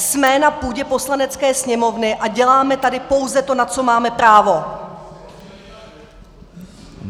Jsme na půdě Poslanecké sněmovny a děláme tady pouze to, na co máme právo!